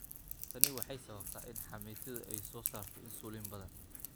Tani waxay sababtaa in xameetidu ay soo saarto insulin badan.